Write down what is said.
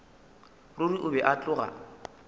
ruri o be a tloga